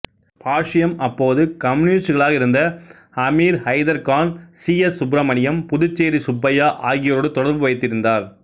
பாஷ்யம் அப்போது கம்யூனிஸ்டுகளாக இருந்த அமீர்ஹைதர் கான் சி எஸ் சுப்பிரமணியம் புதுச்சேரி சுப்பையா ஆகியோரோடு தொடர்பு வைத்திருந்தார்